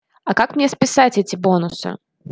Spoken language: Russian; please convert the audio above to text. а как мне списать эти бонусы